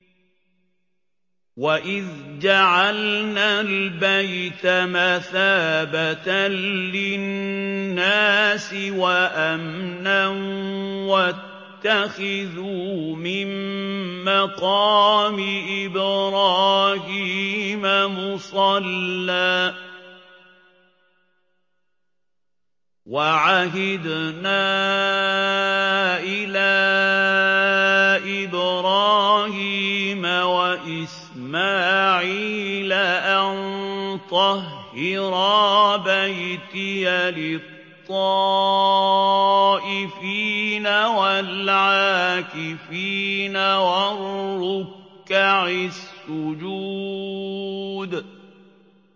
وَإِذْ جَعَلْنَا الْبَيْتَ مَثَابَةً لِّلنَّاسِ وَأَمْنًا وَاتَّخِذُوا مِن مَّقَامِ إِبْرَاهِيمَ مُصَلًّى ۖ وَعَهِدْنَا إِلَىٰ إِبْرَاهِيمَ وَإِسْمَاعِيلَ أَن طَهِّرَا بَيْتِيَ لِلطَّائِفِينَ وَالْعَاكِفِينَ وَالرُّكَّعِ السُّجُودِ